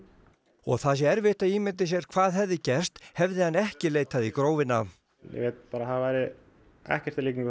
og það sé erfitt að ímynda sér hvað hefði gerst hefði hann ekki leitað í Grófina ég veit bara að það væri ekki í líkingu